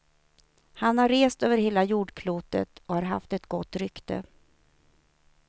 Han har rest över hela jordklotet och har haft ett gott rykte.